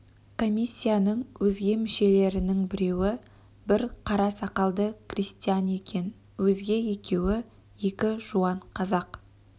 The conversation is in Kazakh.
комиссияның өзге мүшелерінің біреуі бір қара сақалды крестьян екен өзге екеуі екі жуан қазақ